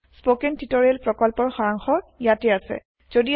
spoken tutorial প্ৰকল্পৰ সাৰাংশ ইয়াতে আছে